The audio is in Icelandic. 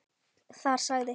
Þar sagði